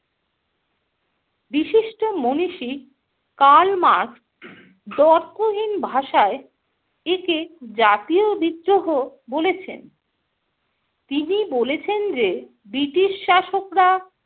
বিশিষ্ট মনীষী Karl Marx দ্ব্যর্থহীন ভাষায় একে জাতীয় বিদ্রোহ বলেছেন। তিনি বলেছেন যে ব্রিটিশ শাসকরা